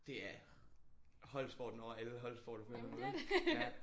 Det er holdsporten over alle holdsporter på en måde ja